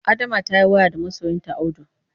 Adama ta yi waya da masoyinta Audu.